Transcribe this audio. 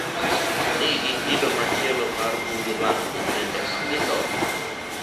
ni gi kido machielo mar buge mag nyithindo ma gisomo?